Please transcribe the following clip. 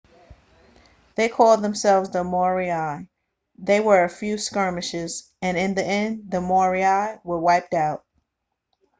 they called themselves the moriori there were a few skirmishes and in the end the moriori were wiped out